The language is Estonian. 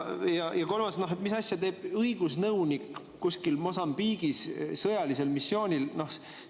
Ja kolmas: mis asja teeb õigusnõunik kuskil Mosambiigis sõjalisel missioonil?